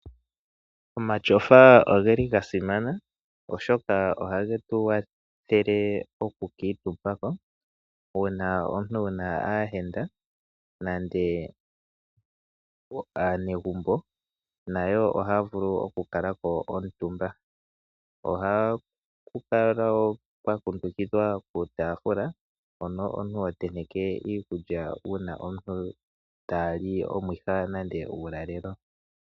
Omatyofa ogeli ga simana, oshoka ohage tu kwathele okukuutumba ko. Uuna omuntu wu na aayenda nenge aanegumbo, nayo ohaya vulu okukala ko omutumba. Ohaga kala ga kundukidha uutaafula, mpono omuntu yotenteke iikulya uuna aantu taa li omwiha nenge uulalelo.